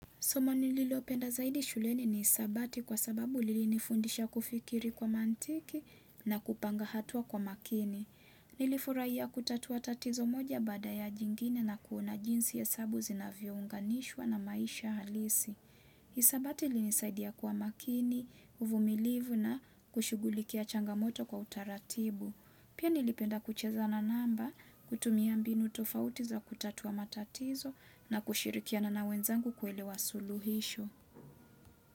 Soma nililopenda zaidi shuleni ni hisabati kwa sababu lilini fundisha kufikiri kwa mantiki na kupanga hatua kwa makini. Nilifurahia kutatua tatizo moja baada ya jingine na kuona jinsi hesabu zinavyo unganishwa na maisha halisi. Hisabati ilini saidia kuwa makini, uvumilivu na kushughulikia changamoto kwa utaratibu. Pia nilipenda kuchezana namba kutumia mbinu tofauti za kutatua matatizo na kushirikia na wenzangu kuelewa suluhisho.